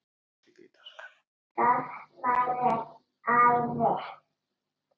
Það væri æði